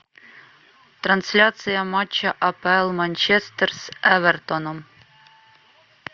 трансляция матча апл манчестер с эвертоном